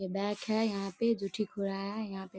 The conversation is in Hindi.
ये बैग है यहाँ पे जो ठीक हो रहा है। यहाँ पे --.